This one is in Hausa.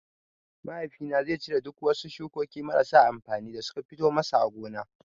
Mahaifi na zai cire duk wasu shukokin marasa amfani da suka fito masa a gona.